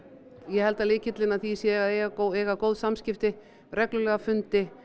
ég held að lykillinn að því sé að eiga góð eiga góð samskipti reglulega fundi